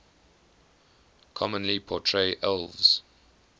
commonly portray elves